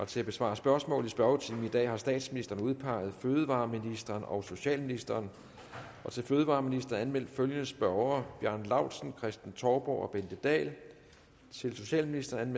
til at besvare spørgsmål i spørgetimen i dag har statsministeren udpeget fødevareministeren og socialministeren til fødevareministeren er anmeldt følgende spørgere bjarne laustsen kristen touborg bente dahl til socialministeren